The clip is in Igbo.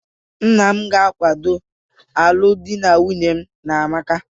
Nna m ga-akwado alụmdi na nwunye mu na amaka